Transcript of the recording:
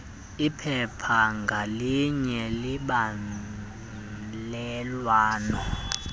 iphepha ngalinye lembalelwano